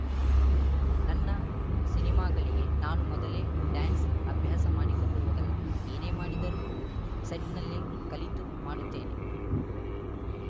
ನನ್ನ ಸಿನಿಮಾಗಳಿಗೆ ನಾನು ಮೊದಲೇ ಡ್ಯಾನ್ಸ್‌ ಅಭ್ಯಾಸ ಮಾಡಿಕೊಂಡು ಹೋಗಲ್ಲ ಏನೇ ಮಾಡಿದರೂ ಸೆಟ್‌ನಲ್ಲೇ ಕಲಿತು ಮಾಡುತ್ತೇನೆ